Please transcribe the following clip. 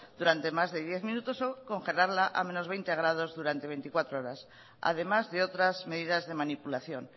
durante más de diez minutos o congelarla a veinte grados durante veinticuatro horas además de otras medidas de manipulación